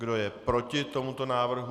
Kdo je proti tomuto návrhu?